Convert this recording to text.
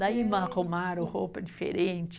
Daí me arrumaram roupa diferente.